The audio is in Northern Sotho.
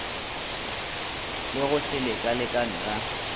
le go se lekalekane ga